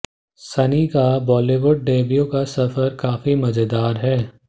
सनी का बॉलीवुड डेब्यू का सफर काफी मजेदार है